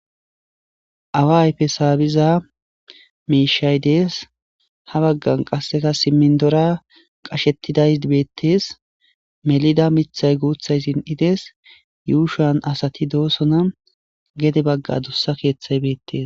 awa ayfe saabiza miishay dees ha baggan qasseta simmindora qashettiday ibeettees melida mithay guuthay sin7ides yuushan asati doosona gede bagga dussa keeththay beettees